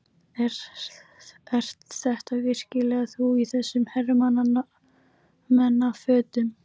Ert þetta virkilega þú í þessum hermannafötum!